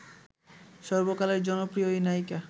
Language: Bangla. সর্বকালের জনপ্রিয় এই নায়িকা